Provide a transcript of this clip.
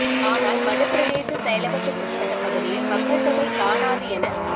ஆனால் மடு பிரதேச செயலகத்துக்குட்பட்ட பகுதியில் மக்கள் தொகை காணாது என